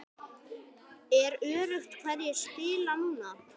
Er öruggt hverjir spila núna?